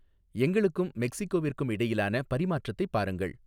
எங்களுக்கும் மெக்ஸ்கோவிற்கும் இடையிலான பரிமாற்றத்தைப் பாருங்கள்